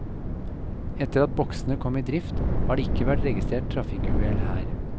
Etter at boksene kom i drift, har det ikke vært registrert trafikkuhell her.